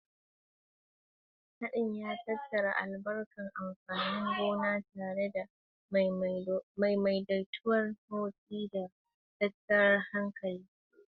Haɗin ya tattara albarkatu amfanin gona tare da madaidaicin motsi, da tattara hatsi cikin inganci.